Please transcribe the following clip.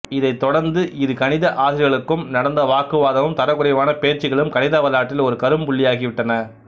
இதைத் தொடர்ந்து இரு கணித ஆசிரியர்களுக்கும் நடந்த வாக்குவாதமும் தரக்குறைவான பேச்சுகளும் கணித வரலாற்றில் ஒரு கரும் புள்ளியாகி விட்டன